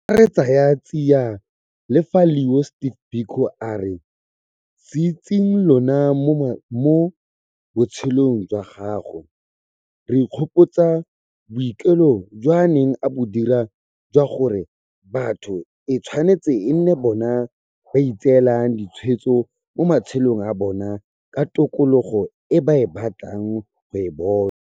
Fa re tsaya tsiya lefa leo Steve Biko a re sietseng lona mo botshelong jwa gagwe, re ka ikgopotsa boikuelo jo a neng a bo dira jwa gore batho e tshwanetse e nne bona ba ba itseelang ditshwetso mo matshelong a bona ka tokologo e ba batlang go e bona.